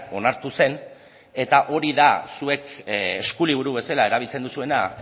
onartu zen eta hori da zuek eskuliburu bezala erabiltzen duzuena